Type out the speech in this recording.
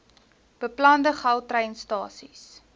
beplande gautrain stasies